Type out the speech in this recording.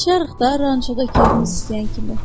Yaşarıq da rançoda keyfimiz istəyən kimi.